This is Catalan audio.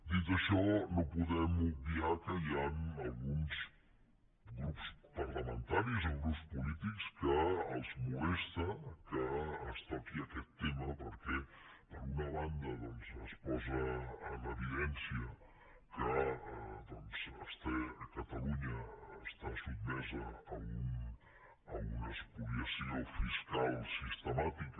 dit això no podem obviar que hi han alguns grups parlamentaris o grups polítics a qui molesta que es toqui aquest tema perquè per una banda es posa en evidència que catalunya està sotmesa a una espoliació fiscal sistemàtica